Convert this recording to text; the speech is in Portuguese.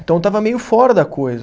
Então, eu estava meio fora da coisa.